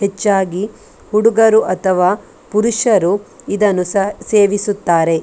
ಹೆಚ್ಚಾಗಿ ಹುಡುಗರು ಅಥವಾ ಪುರುಷರು ಇದನ್ನು ಸ ಸೇವಿಸುತ್ತಾರೆ .